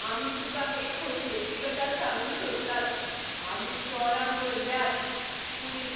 आमी तुका एक खोशयेची गजाल सांगूंक सोदतात, आमी चोरांक धरल्यात. पुलीस